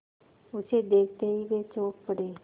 उसे देखते ही वे चौंक पड़े